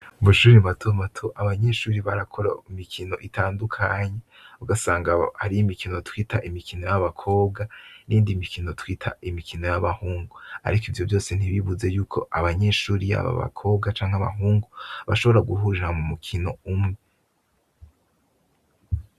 Mushure matomato abanyeshure barakora imikino itandukanye ugasanga hariho imikino twita imikino yabakobwa niyindi mikino twita imikino yabahungu arik ivyo vyose ntibibuze yuko abanyeshure yaba abakobwa canke abahungu bashobora guhurira mumukino umwe